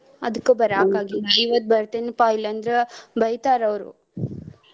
ಅದಕ್ಕ ಬರಾಕ್ ಆಗ್ಲಿಲ್ಲ ಇವತ್ತ್ ಬರ್ತೆನಿಪಾ ಇಲ್ಲಾ ಅಂದ್ರ ಬೈತಾರ ಅವ್ರು.